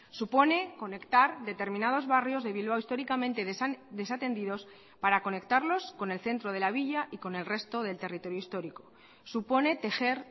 supone conectar determinados barrios de bilbao históricamente desatendidos para conectarlos con el centro de la villa y con el resto del territorio histórico supone tejer